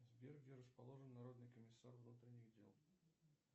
сбер где расположен народный комиссар внутренних дел